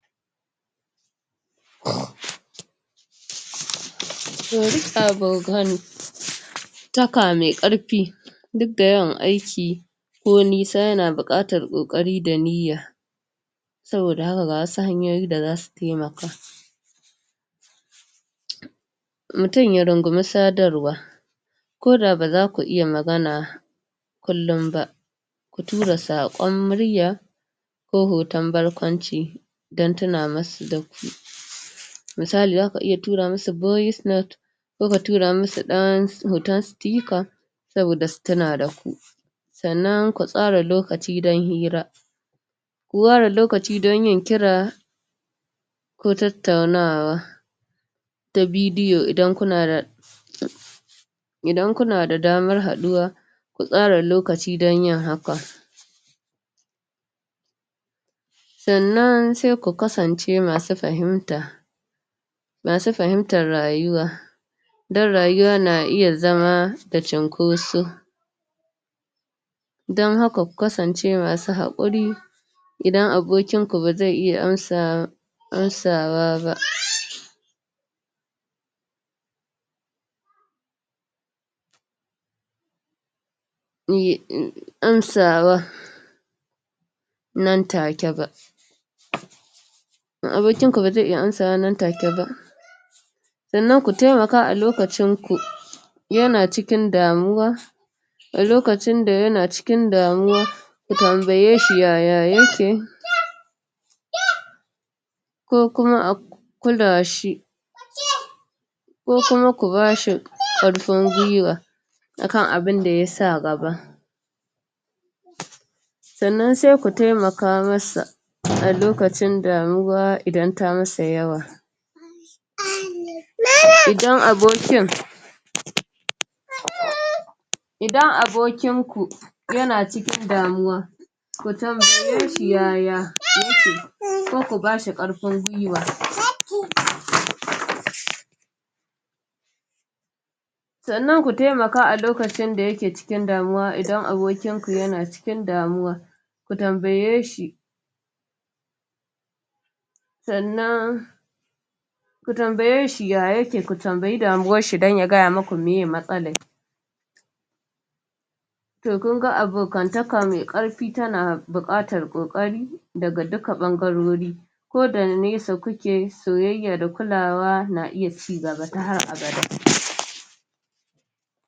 Abokantaka mai ƙarfi duk da yawan aiki ko nisa yana buƙatar ƙoƙari da niyya saboda haka ga wasu hanyoyin da za su taimaka mutum ya rungumi sadarwa ko da ba za ku iya magana kullum ba ku tura saƙon murya ko hoton barkwanci don tuna masu. Misali za ka iya tura masu voice note ko ka tura masu ɗan hoton sticker saboda su tuna da ku sannan ku tsara lokaci don hira ku ware lokaci don yin kira ko tattaunawa ta bidiyo idan kuna da idan kuna da damar haɗuwa ku tsara lokaci don yin haka. Sannana sai ku kasance masu fahimta masu fahimtar rayuwa don rayuwa na iya zama da cunkoso don haka ku kasance masu haƙuri idan abokinku ba zai iya amsawa amsawa ba. amsawa nan take ba idan abokinku ba zai iya amsawa nan take ba sannan ku taimaka a lokacinku, yana cikin damuwa a lokacin da yana cikin damuwa ku tambaye shi yaya yake. ko kuma a kula shi. ko kuma ku ba shi ƙarfin guiwa a kan abin da ya sa gaba. sannan sai ku taimaka masa a lokacin damuwa idan ta masa yawa idan abokin idan abokinku yana cikin damuwa ku tambaye shi ya ya yake ko ku ba shi ƙarfin guiwa sannan ku taimaka a lokacin da ya ke cikin damuwa idan abokinku yana cikin damuwa ku taimake shi sannan ku tambaye shi ya yake kuma tambayi damuwarshi don ya gaya maku meye matsalar to kun ga abokantaka mai ƙarfi tana buƙatar ƙoƙari daga dukkan ɓangarori ko da nesa kuke soyayya da kulawa na iya ci gaba ta har abada.